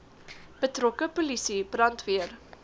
betrokke polisie brandweer